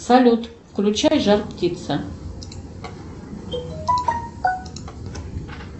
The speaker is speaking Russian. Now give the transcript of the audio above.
салют включай жар птица